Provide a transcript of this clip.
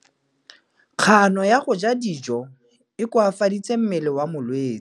Kganô ya go ja dijo e koafaditse mmele wa molwetse.